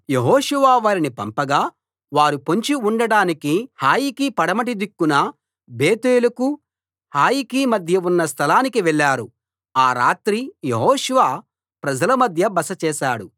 యెహోషువ వారిని పంపగా వారు పొంచి ఉండటానికి హాయికి పడమటి దిక్కున బేతేలుకు హాయికి మధ్య ఉన్న స్థలానికి వెళ్ళారు ఆ రాత్రి యెహోషువ ప్రజల మధ్య బస చేశాడు